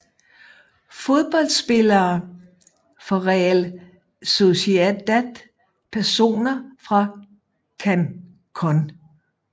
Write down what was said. Fodboldspillere fra Real Sociedad Personer fra Cancún